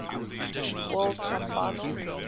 world cup final